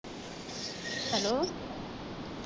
Hello.